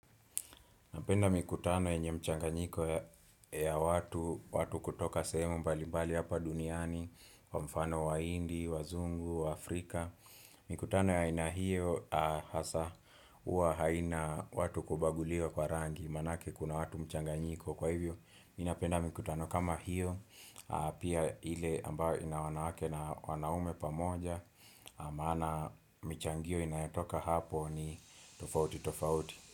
Napenda mikutano yenye mchanganyiko ya watu, watu kutoka sehemu mbalimbali hapa duniani, kwa mfano wahindi, wazungu, waafrika. Mikutano ya aina hio, hasa huwa haina watu kubaguliwa kwa rangi, maanake kuna watu mchanganyiko. Kwa hivyo, ninapenda mikutano kama hio, pia ile ambayo ina wanawake na wanaume pamoja, maana mchangio inayatoka hapo ni tofauti, tofauti.